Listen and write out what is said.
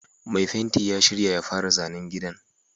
Mai fenti ya shirya ya fara zanen gidan